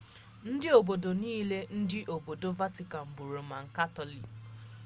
ndị obodo niile nke obodo vatican bụ roman katọlik